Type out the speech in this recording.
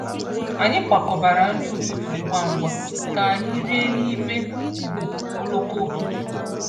Anyị kwakọbara nri ụtụtụ ngwa ngwa ka anyị rie n’ime ụgbọ oloko ụtụtụ.